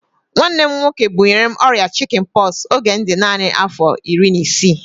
Nwanne m nwoke bunyere m ọrịa chikin pọksi oge m dị naanị afọ iri na isii